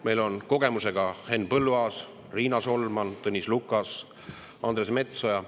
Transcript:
Meil on kogemusega Henn Põlluaas, Riina Solman, Tõnis Lukas ja Andres Metsoja.